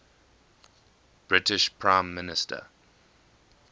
british prime minister